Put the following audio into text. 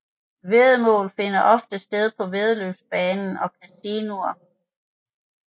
Væddemål finder ofte sted på væddeløbsbanen og casinoer